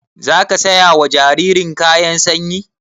Zaka saya wa jaririn kayan sanyi?